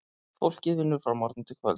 Fólkið vinnur frá morgni til kvölds.